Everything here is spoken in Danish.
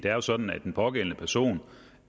er jo sådan at den pågældende person